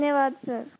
धन्यवाद सर